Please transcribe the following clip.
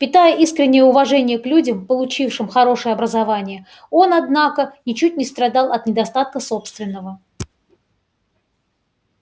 питая искреннее уважение к людям получившим хорошее образование он однако ничуть не страдал от недостатка собственного